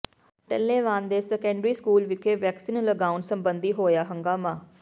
ਟੱਲੇਵਾਲ ਦੇ secondary school ਵਿਖੇ vaccine ਲਗਾਉਣ ਸਬੰਧੀ ਹੋਇਆ ਹੰਗਾਮਾ